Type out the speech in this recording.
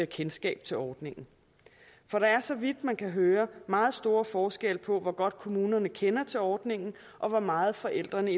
kendskab til ordningen for der er så vidt man kan høre meget stor forskel på hvor godt kommunerne kender til ordningen og hvor meget forældrene